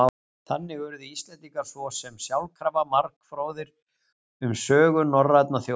Þannig urðu Íslendingar svo sem sjálfkrafa margfróðir um sögu norrænna þjóða.